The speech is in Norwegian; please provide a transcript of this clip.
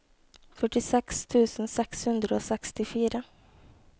førtiseks tusen seks hundre og sekstifire